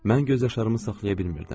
Mən göz yaşlarımı saxlaya bilmirdim.